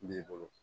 N b'i bolo